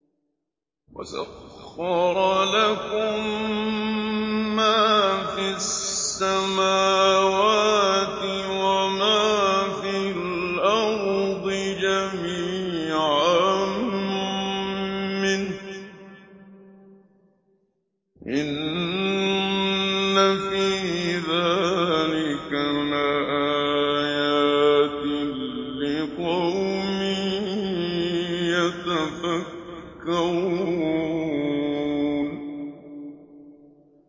وَسَخَّرَ لَكُم مَّا فِي السَّمَاوَاتِ وَمَا فِي الْأَرْضِ جَمِيعًا مِّنْهُ ۚ إِنَّ فِي ذَٰلِكَ لَآيَاتٍ لِّقَوْمٍ يَتَفَكَّرُونَ